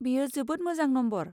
बेयो जोबोद मोजां नम्बर!